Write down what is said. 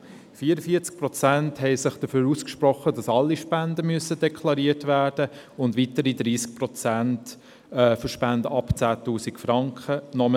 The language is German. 44 Prozent sprachen sich dafür aus, dass alle Spenden deklariert werden müssen und weitere 30 Prozent, dass Spenden ab 10 000 Franken deklariert werden müssen.